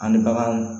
An bɛ bagan